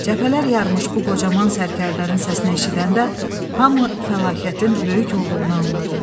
Cəbhələr yarmış bu qocaman sərkərdənin səsini eşidəndə hamı fəlakətin böyük olduğunu anladı.